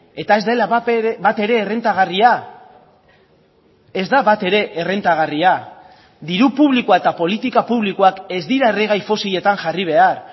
eta ez dela batere errentagarria ez da batere errentagarria diru publikoa eta politika publikoak ez dira erregai fosiletan jarri behar